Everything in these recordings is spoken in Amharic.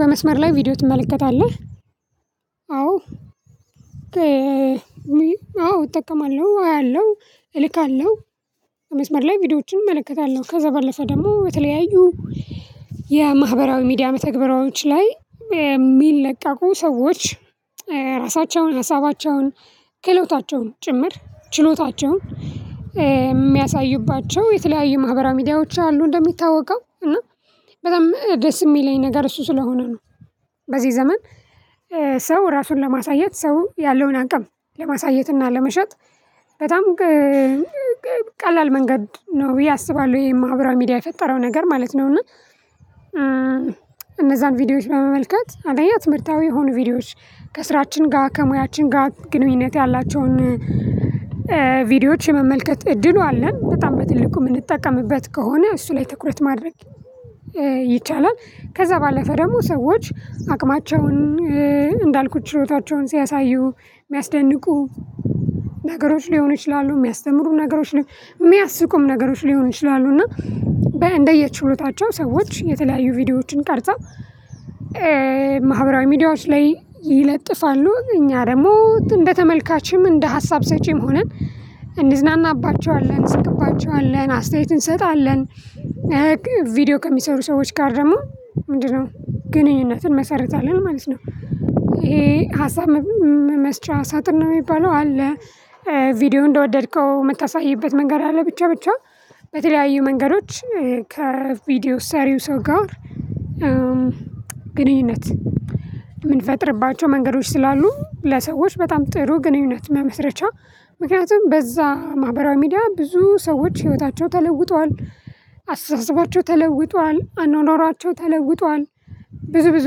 በመስመር ላይ ቪዲዮ ትመለከታለህ? አዎ። አዎ እጠቀማለሁ አያለሁ እልካለሁ በመስመር ላይ ቪዲዮዎችን እመለከታለሁ ከዛ በለፈ ደግሞ በተለያዩ የማህበራዊ ሚዲያ መተግበራዎች ላይ የሚለቀቁ ሰዎች ራሳቸውን ሀሳባቸውን ክህሎታቸውን ጭምር ችሎታቸውን የሚያሳዩባቸው የተለያዩ ማህበራዊ ሚዲያዎች አሉ እንደሚታወቀው እና በጣም ደስ ሚለኝ ነገር እሱ ስለሆነ ነው። በዚህ ዘመን ሰው ራሱን ለማሳየት ሰው ያለውን አቅም ለማሳየትና ለመሸጥ በጣም ቀላል መንገድ ነው ብዬ አስባለሁ። ይሄ ማህበራዊ ሚዲያ የፈጠረው ነገር ማለት ነው። እና እነዛን ቪዲዮዎች በመመልከት አንደኛ ትምህርታዊ የሆኑ ቪዲዮዎች ከስራችን ጋር ከሙያችን ጋር ግንኙነት ያላቸውን ቪዲዮዎች የመመልከት እድሉ አለን በጣም በትልቁ ምንጠቀምበት ከሆነ እሱ ላይ ትኩረት ማድረግ ይቻላል። ከዛ ባለፈ ደግሞ ሰዎች አቅማቸውን እንዳልኩት ችሎታቸውን ሲያሳዩ ሚያስደንቁ ነገሮች ሊሆኑ ይችላሉ ሚያስተምሩ ነገሮች ላይ ሚያስቁም ነገሮች ሊሆኑ ይችላሉ። እና በእንደየ ችሎታቸው ሰዎች የተለያዩ ቪዲዮዎችን ቀርጸው ማህበራዊ ሚዲያዎች ላይ ይለጥፋሉ እኛ ደግሞ እንደ ተመልካችም እንደ ሀሳብ ሰጭም ሆነን እንዝናናባቸዋለን እንስቅባቸዋለን አስተያየት እንሰጣለን። ቪዲዮ ከሚሰሩ ሰዎች ጋር ደግሞ ምንድን ነው ግንኙነትን እንመሰርታለን ማለት ነው። ይሄ ሀሳብ መስጫ ሳጥን ነው የሚባለው አለ። ቪዲዮ እንደወደድከው ምታሳይበት መንገድ አለ ብቻ ብቻ በተለያዩ መንገዶች ከቪዲዮ ሰሪው ሰው ጋር ግንኙነት የምንፈጥርባቸው መንገዶች ስላሉ ለሰዎች በጣም ጥሩ ግንኙነት መመስረቻ ምክንያቱም በዛ ማህበራዊ ሚዲያ ብዙ ሰዎች ህይወታቸው ተለውጧል። አስተሳሰባቸው ተለውጧል አኗኗራቸው ተለውጧል። ብዙ ብዙ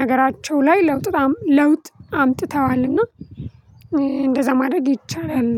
ነገራቸው ላይ ለውጥ ለውጥ አምጥተዋል እና እንደዛ ማድረግ ይቻላል።